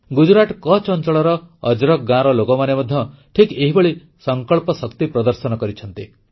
ଗୁଜରାଟ କଚ୍ଛ ଅଂଚଳର ଅଜରକ୍ ଗାଁର ଲୋକମାନେ ମଧ୍ୟ ଠିକ୍ ଏହିଭଳି ସଂକଳ୍ପ ଶକ୍ତି ପ୍ରଦର୍ଶନ କରିଛନ୍ତି